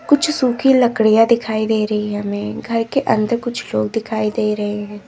कुछ सूखी लकड़ियां दिखाई दे रही है हमें घर के अंदर कुछ लोग दिखाई दे रहे हैं।